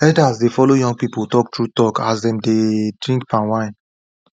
elders dey follow young people talk true talk as dem dey drink palm wine